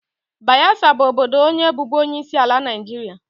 Bayesa bụ obodo onye bụbu onyeisiala Naijiria.